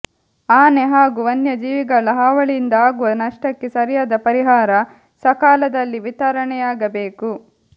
ಆನೆ ಹಾಗೂ ವನ್ಯಜೀವಿಗಳ ಹಾವಳಿಯಿಂದ ಆಗುವ ನಷ್ಟಕ್ಕೆ ಸರಿಯಾದ ಪರಿಹಾರ ಸಕಾಲದಲ್ಲಿ ವಿತರಣೆಯಾಗಬೇಕು